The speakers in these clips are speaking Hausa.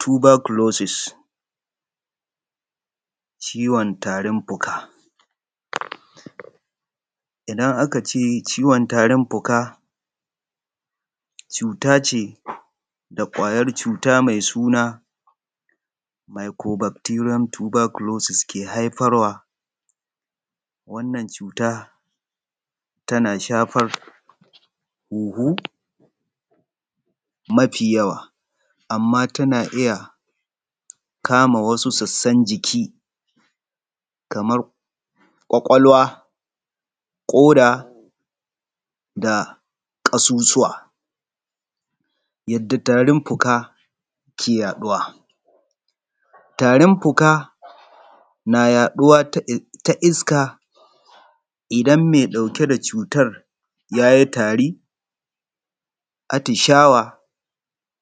Tuberculosis ciwon tarin fuka, idan aka ce ciwon tarin fuka, cuta ce da ƙwarya cuta mai suna microbecterian Tuberculosis ke haifarwa. Wannan cuta tana shafar hunhu mafi yawa amma tana iya kama wasu sassan jiki kamar ƙwaƙwalwa, koda da ƙasusuwa. Yadda tarin fuka ke yaɗuwa, tarin fuka na yaɗuwar ta iska idan mai ɗauke da cutar ya yi tari, atishawa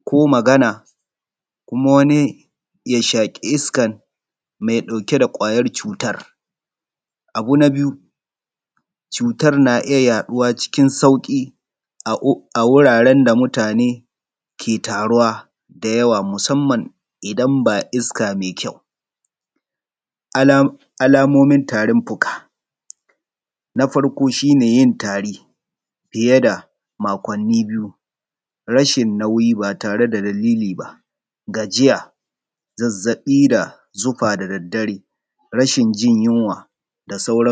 ko magana kuma wani ya shaƙi iskar mai ɗauke da ƙwayar cutar. Na biyu cutar na iya yaɗuwa cikin sauki a inda mutane ke taruwa da yawa musamman idan babu isaka mai ƙyau. Alamomin tarin fuka, na farko yin tari fiye da makwanni biyu, rashi nauyi ba tare da dalili ba, gajiya zazzaɓi da zufa da dare, rashin. Jin yinwa da sauran.